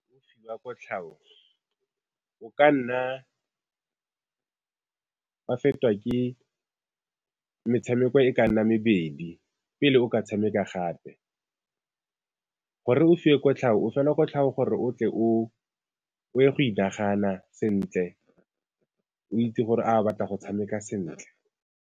O fiwa kotlhao, o ka nna wa fetwa ke metshameko e ka nna mebedi pele o ka tshameka gape, gore o fiwe kotlhao o felwa kotlhao gore o tle o ye go inagana sentle o itse gore a o batla go tshameka sentle.